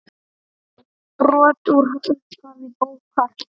Brot úr upphafi bókar